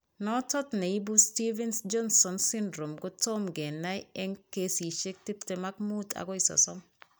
Notot neibu Stevens Johson syndrome kotom kenai eng' kesisiek tiptem ak muut akoi sosom